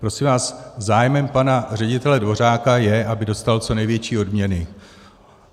Prosím vás, zájmem pane ředitele Dvořáka je, aby dostal co největší odměny.